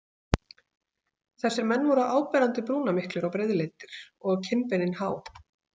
Þessir menn voru áberandi brúnamiklir og breiðleitir og kinnbeinin há.